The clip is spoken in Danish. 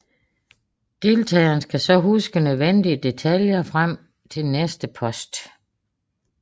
Deltagerne skal så huske nødvendige detaljer frem til næste post